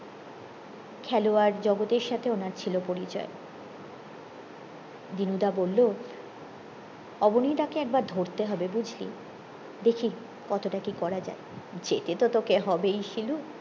খেলোয়াড় জগতের সাথে উনার ছিল পরিচয় দিনু দা বললো অবনী দা কে একবার ধরতে হবে বুঝলি দেখি কতটা কি করা যায় যেতে তো তোকে হবেই শিলু